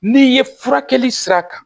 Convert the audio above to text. N'i ye furakɛli sira kan